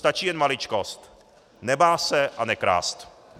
Stačí jen maličkost - nebát se a nekrást.